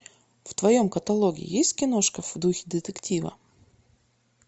в твоем каталоге есть киношка в духе детектива